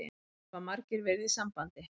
Það hafa margir verið í sambandi